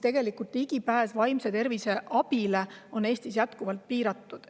Tegelikult on ligipääs vaimse tervise abile Eestis jätkuvalt piiratud.